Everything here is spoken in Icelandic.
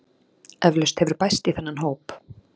Eflaust hefur bæst í þennan hóp